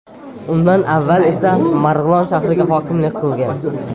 Undan avval esa Marg‘ilon shahriga hokimlik qilgan.